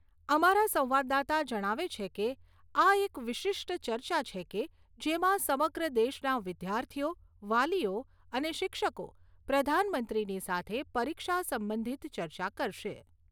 અમારા સંવાદદાતા જણાવે છે કે, આ એક વિશિષ્ટ ચર્ચા છે કે, જેમાં સમગ્ર દેશનાં વિદ્યાર્થીઓ, વાલીઓ અને શિક્ષકો પ્રધાનમંત્રીની સાથે પરીક્ષા સંબંધિત ચર્ચા કરશે.